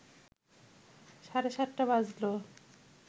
সাড়ে সাতটা বাজলো